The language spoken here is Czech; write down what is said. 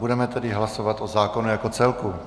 Budeme tedy hlasovat o zákonu jako celku.